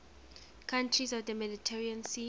countries of the mediterranean sea